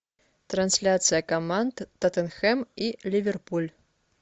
трансляция команд тоттенхэм и ливерпуль